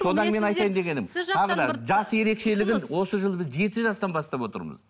содан мен айтайын дегенім тағы да жас ерекшелігі осы жылы біз жеті жастан бастап отырмыз